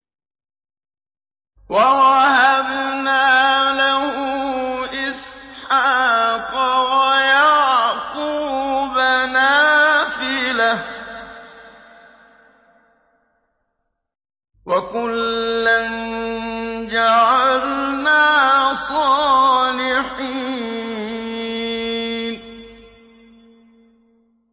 وَوَهَبْنَا لَهُ إِسْحَاقَ وَيَعْقُوبَ نَافِلَةً ۖ وَكُلًّا جَعَلْنَا صَالِحِينَ